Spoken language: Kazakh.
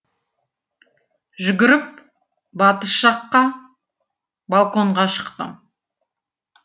жүгіріп батыс жаққа балконға шықтым